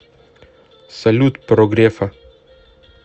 салют про грефа